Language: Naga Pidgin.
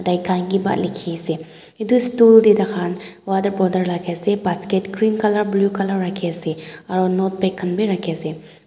daikhan kehba leki ase etu stool de dakhai khan water bottle rakhi ase basket green colour blue colour rakhi ase aro notepad khan bi rakhi ase aro.